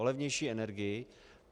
O levnější energii?